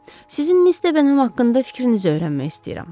Sizin Miss Deham haqqında fikrinizi öyrənmək istəyirəm.